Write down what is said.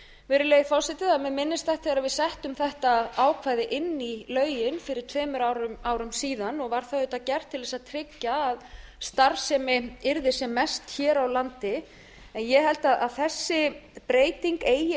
virðulegi forseti það er mjög minnisstætt þegar við settum þetta ákvæði inn í lögin fyrir tveimur árum síðan og var það auðvitað gert til að tryggja að starfsemi yrði sem mest hér á landi ég held að þessi breyting eigi